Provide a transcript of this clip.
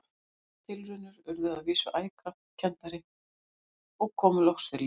Þær tilraunir urðu að vísu æ krampakenndari og komu loks fyrir lítið.